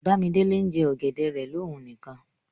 Bàmídélé n jẹ̀ ọgẹ̀dẹ̀ rẹ̀ lọ̀ún níkan.